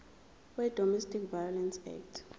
wedomestic violence act